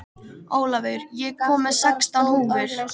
Ólafur, ég kom með sextán húfur!